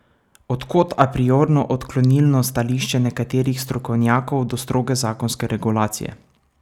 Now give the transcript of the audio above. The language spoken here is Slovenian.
Od kod apriorno odklonilno stališče nekaterih strokovnjakov do stroge zakonske regulacije?